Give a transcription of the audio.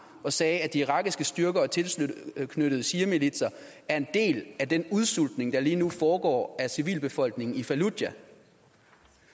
og sagde at de irakiske styrker og tilknyttede shiamilitser er en del af den udsultning der lige nu foregår af civilbefolkningen i fallujah